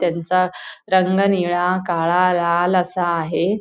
त्यांचा रंग निळा काळा लाल असा आहे.